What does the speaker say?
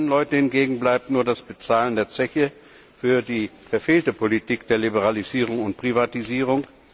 Für die kleinen Leute hingegen bleibt nur das Bezahlen der Zeche für die verfehlte Politik der Liberalisierung und Privatisierung.